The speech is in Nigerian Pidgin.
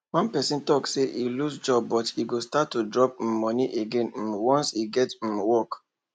one person talk say e lose job but e go start to drop um money again um once e get um work